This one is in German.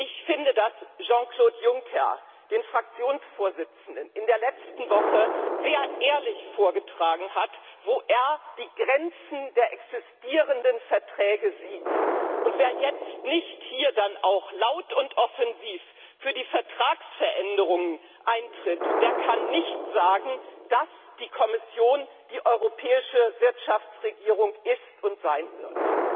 Ich finde, dass Jean Claude Juncker den Fraktionsvorsitzenden in der letzten Woche sehr ehrlich vorgetragen hat, wo er die Grenzen der existierenden Verträge sieht, und wer jetzt nicht hier auch laut und offensiv für die Vertragsänderung eintritt, der kann nicht sagen, dass die Kommission die europäische Wirtschaftsregierung ist und sein wird.